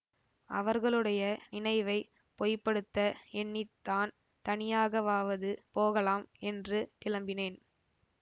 அவர்களுடைய நினைவை பொய்ப்படுத்த எண்ணி தான் தனியாகவாவது போகலாம் என்று கிளம்பினேன்